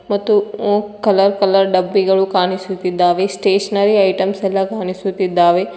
ಮತ್ತು ಒ- colour colour ಡಬ್ಬಿಗಳು ಕಾಣಿಸುತ್ತಿದ್ದಾವೆ ಸ್ಟೇಷನರಿ ಐಟಮ್ಸ್ ಎಲ್ಲಾ ಕಾಣಿಸುತ್ತಿದ್ದಾವೆ.